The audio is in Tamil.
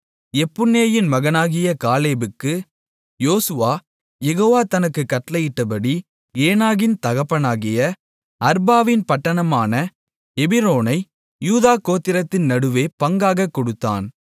எப்புன்னேயின் மகனாகிய காலேபுக்கு யோசுவா யெகோவா தனக்குக் கட்டளையிட்டபடி ஏனாக்கின் தகப்பனாகிய அர்பாவின் பட்டணமான எபிரோனை யூதா கோத்திரத்தின் நடுவே பங்காகக் கொடுத்தான்